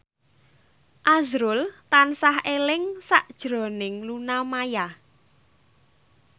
azrul tansah eling sakjroning Luna Maya